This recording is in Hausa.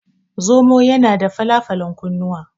Zomo yana da fala falan kunnuwa.